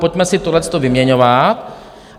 Pojďme si tohleto vyměňovat.